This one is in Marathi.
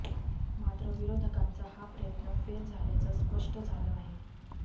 मात्र विरोधकांचा हा प्रयत्न फेल झाल्याचं स्पष्ट झालं आहे